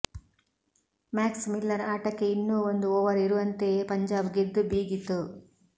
Max Miller ಆಟಕ್ಕೆ ಇನ್ನೂ ಒಂದು ಓವರ್ ಇರುವಂತೆಯೇ ಪಂಜಾಬ್ ಗೆದ್ದು ಬೀಗಿತು